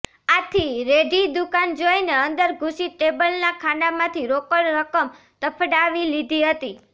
આથી રેઢી દુકાન જોઈને અંદર ઘુસી ટેબલના ખાનામાંથી રોકડ રકમ તફડાવી લીધી હતી